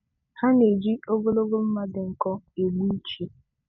Ha na-eji ogologo mma dị nkọ egbu ichi.